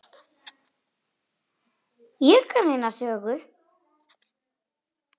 Ég kann eina sögu.